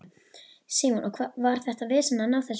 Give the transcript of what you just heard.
Símon: Og var þetta vesen að ná þessu fram?